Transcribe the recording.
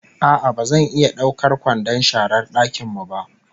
A'a ba zan iya daukar kwandon sharar dakin mu ba